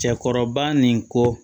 Cɛkɔrɔba nin ko